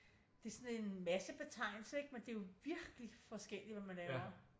Det sådan en massebetegnelse ikke men det er jo virkeligt forskelligt hvad man laver